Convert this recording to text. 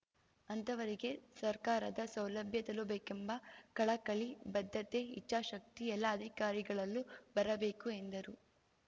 ಅಂತಹವರಿಗೆ ಸರ್ಕಾರದ ಸೌಲಭ್ಯ ತಲುಬೇಕೆಂಬ ಕಳಕಳಿ ಬದ್ಧತೆ ಇಚ್ಚಾಶಕ್ತಿ ಎಲ್ಲಾ ಅಧಿಕಾರಿಗಳಲ್ಲೂ ಬರಬೇಕು ಎಂದರು